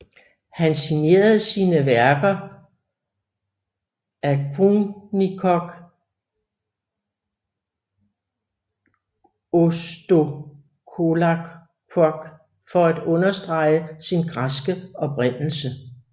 Han signerede sine værker Δομήνικος Θεοτοκόπουλος for at understrege sin græske oprindelse